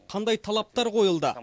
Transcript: қандай талаптар қойылды